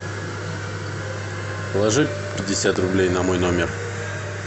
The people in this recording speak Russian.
положи пятьдесят рублей на мой номер